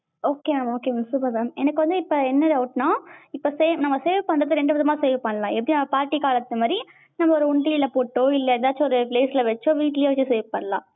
okay mam okay mam super mam எனக்கு வந்து இப்ப என்ன doubt னா, இப்ப save நாம save பண்றது ரெண்டு விதமா save பண்ணலாம். எப்படி நம்ம பாட்டி காலத்து மாதிரி ஒரு உண்டியல்ல போட்டோ இல்ல எதாச்சும் ஒரு place ல வச்சோ வீட்லயே வச்சு save பண்ணலாம்.